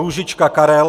Růžička Karel